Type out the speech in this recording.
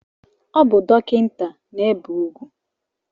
O bu dokinta na-ebe ugwu